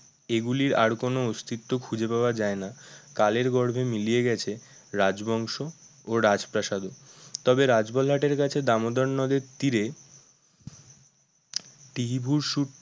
এগুলির আর কোনো অস্তিত্ব খুঁজে পাওয়া যায় না কালের গর্ভে মিলিয়ে গেছে রাজবংশ ও রাজপ্রাসাদ ও তবে রাজবলহাট এর কাছে দামোদর নদের তীরে